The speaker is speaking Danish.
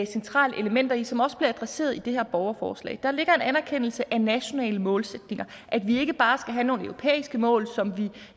centrale elementer i den som også bliver adresseret i det her borgerforslag der ligger en anerkendelse af nationale målsætninger at vi ikke bare skal have nogle europæiske mål som vi